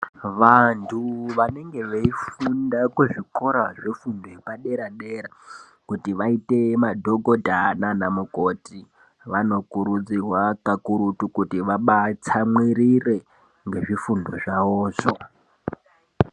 Vantu vanenge veifunda kuzvikora zvefundo yepadera-dera kuti vaite madhogodha nana mukoti. Vanokurudzirwa kakurutu kuti vabatsamwirire ngezvifundo zvavozvo.